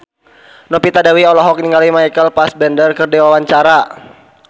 Novita Dewi olohok ningali Michael Fassbender keur diwawancara